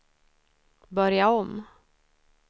börja om